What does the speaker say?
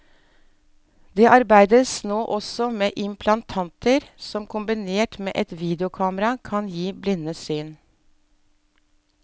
Det arbeides nå også med implantater som kombinert med et videokamera kan gi blinde syn.